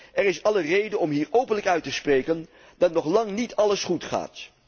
Er is alle reden om hier openlijk uit te spreken dat nog lang niet alles goed gaat.